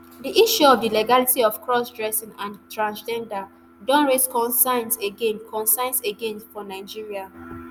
di issue of di legality of crossdressing and transgender don raise concerns again concerns again for nigeria